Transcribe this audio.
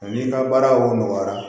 Ani ka baara o nɔgɔya